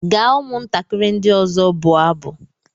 Gaa ụmụntakịrị ndị ọzọ bụọ abụ!